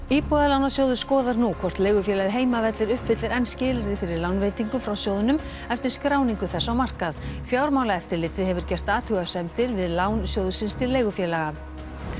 Íbúðalánasjóður skoðar nú hvort leigufélagið Heimavellir uppfyllir enn skilyrði fyrir lánveitingum frá sjóðnum eftir skráningu þess á markað fjármálaeftirlitið hefur gert athugasemdir við lán sjóðsins til leigufélaga